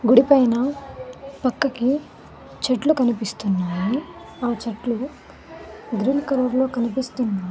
గుడి పైన పక్కకి చెట్లు కనిపిస్తున్నాయి ఆ చెట్లు గ్రీన్ కలర్లో కనిపిస్తున్నా--